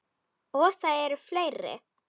Og það eru fleiri.